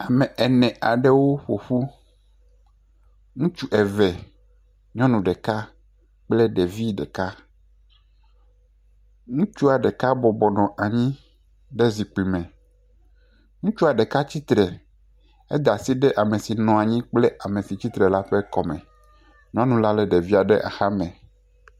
Ame ene aɖewo ƒo ƒu, ŋutsu eve, nyɔnu ɖeka kple ɖevi ɖeka. Ɖutsua ɖeka bɔbɔ nɔ anyi ɖe zikpi me, ŋutsua ɖeka tsi tre he da asi ɖe ame si nɔ anyi kple ame si tsi tre la ƒe kɔme. Nynula lé ɖevia ɖe axame.